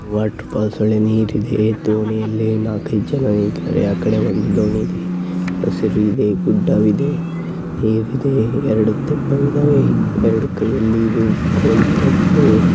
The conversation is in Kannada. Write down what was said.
ವಾಟರ್ ಫಾಲ್ಸ್ ಒಳಗಡೆ ನೀರ ಇದೆ ದೋಣಿಯಲ್ಲಿ ನಾಲಕ್ ಐದು ಜನ ಆ ಕಡೆ ಒಂದು ದೋಣಿ ಇದೆ ಹಸಿರು ಇದೆ ಗುಡ್ಡ ಇದೆ ಎರಡು ಕೋಲು ಇಡಕೊಂಡಿದ್ದಾರೆ .